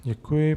Děkuji.